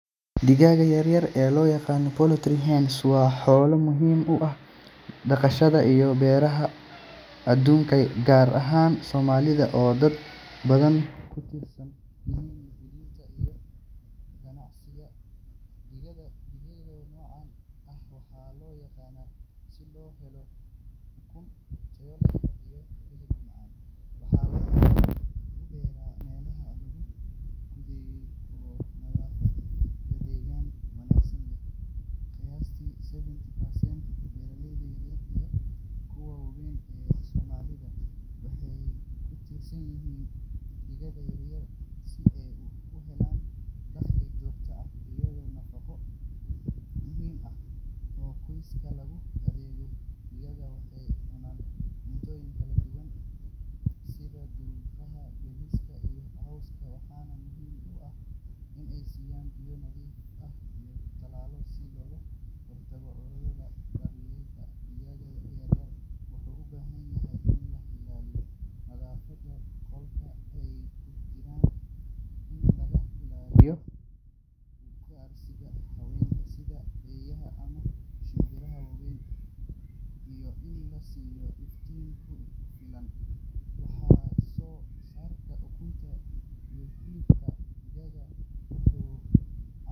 Digaaga yar yar ee loo yaqaan poultry hens waa xoolo muhiim u ah dhaqashada iyo beeraha adduunka, gaar ahaan Soomaaliya oo dad badan ku tiirsan yihiin quudinta iyo ganacsiga digaaga. Digaaga noocan ah waxaa loo dhaqdaa si loo helo ukun tayo leh iyo hilib macaan, waxaana lagu beeraa meelaha loo qoondeeyay oo nadaafad iyo deegaan wanaagsan leh. Qiyaastii seventy percent beeralayda yaryar iyo kuwa waaweyn ee Soomaaliya waxay ku tiirsan yihiin digaaga yar yar si ay u helaan dakhli joogto ah iyo nafaqo muhiim ah oo qoysaska loogu adeego. Digaagaasi waxay cunaan cuntooyin kala duwan sida hadhuudhka, bariiska, iyo cawska, waxaana muhiim ah in la siiyo biyo nadiif ah iyo tallaalo si looga hortago cudurrada. Daryeelka digaaga yar yar wuxuu u baahan yahay in la ilaaliyo nadaafadda qolka ay ku jiraan, in laga ilaaliyo ugaarsiga xayawaanka sida eeyaha ama shimbiraha waaweyn, iyo in la siiyo iftiin ku filan. Wax soo saarka ukun iyo hilibka digaaga wuxuu gacan weyn ka geystaa quudinta bulshada, sidoo kalena waxaa laga heli karaa suuqa si looga ganacsado. Inta badan dadka beeralayda ah waxay isticmaalaan farsamooyin casri ah oo ay ku kordhiyaan wax soo saarka, sida incubators si loo kiciyo ukunta loona helo digaag cusub.